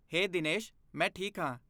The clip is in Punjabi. ਹੇ ਦੀਨੇਸ਼! ਮੈਂ ਠੀਕ ਹਾਂ।